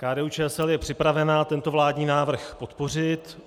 KDU-ČSL je připravena tento vládní návrh podpořit.